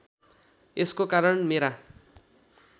यसको कारण मेरा